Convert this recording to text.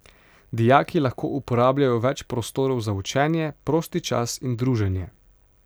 Dijaki lahko uporabljajo več prostorov za učenje, prosti čas in druženje.